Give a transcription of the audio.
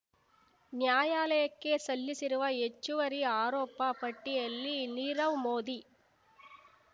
ನ್ಯಾಯಾಲಯಕ್ಕೆ ಸಲ್ಲಿಸಿರುವ ಹೆಚ್ಚುವರಿ ಆರೋಪ ಪಟ್ಟಿಯಲ್ಲಿ ನೀರವ್ ಮೋದಿ